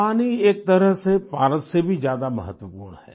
पानी एक तरह से पारस से भी ज्यादा महत्वपूर्ण है